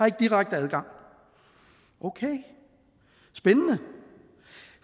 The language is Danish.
ikke direkte adgang okay spændende